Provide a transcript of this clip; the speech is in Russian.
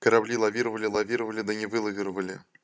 корабли лавировали лавировали да не вылавировали